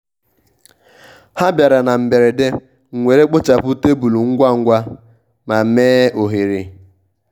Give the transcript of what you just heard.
ha bịara na mberede m were kpochapụ tebụl ngwa ngwa ma mee ohere.